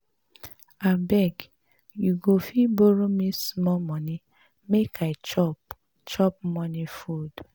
Abeg you go fit borrow me small money make I chop chop morning food